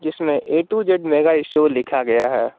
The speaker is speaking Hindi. इसमें A to Z mega store लिखा गया है।